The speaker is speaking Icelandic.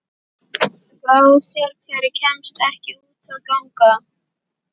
Skrásetjari kemst ekki út að ganga.